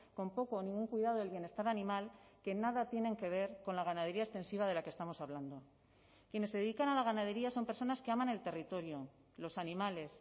con poco o ningún cuidado del bienestar animal que nada tienen que ver con la ganadería extensiva de la que estamos hablando quienes se dedican a la ganadería son personas que aman el territorio los animales